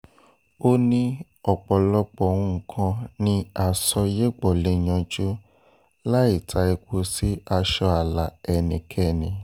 ó ní ọ̀pọ̀lọpọ̀ nǹkan ni àsọyépọ̀ lè yanjú láì ta epo sí aṣọ ààlà ẹnikẹ́ni